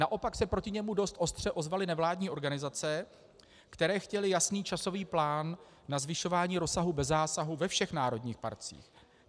Naopak se proti němu dost ostře ozvaly nevládní organizace, které chtěly jasný časový plán na zvyšování rozsahu bez zásahu ve všech národních parcích.